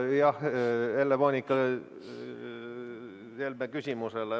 Kõigepealt vastus Helle-Moonika Helme küsimusele.